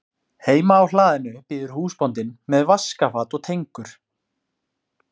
Heima á hlaðinu bíður húsbóndinn með vaskafat og tengur.